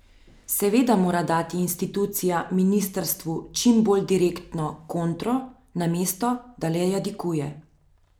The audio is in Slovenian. Seveda mora dati institucija ministrstvu čim bolj direktno kontro, namesto da le jadikuje.